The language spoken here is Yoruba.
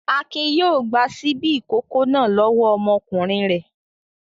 Akin yóò gba ṣíbí ìkókó náà lọ́wọ́ ọmọkùnrin rẹ̀.